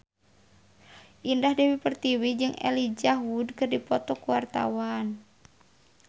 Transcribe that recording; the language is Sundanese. Indah Dewi Pertiwi jeung Elijah Wood keur dipoto ku wartawan